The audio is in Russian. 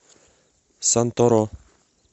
санторо